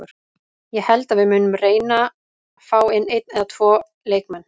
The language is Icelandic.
Ég held að við munum reyna fá inn einn eða tvo leikmenn.